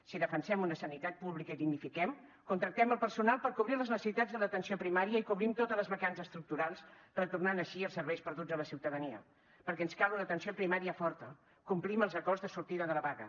si defensem una sanitat pública i dignifiquem contractem el personal per cobrir les necessitats de l’atenció primària i cobrim totes les vacants estructurals retornant així els serveis perduts a la ciutadania perquè ens cal una atenció primària forta complir amb els acords de sortida de la vaga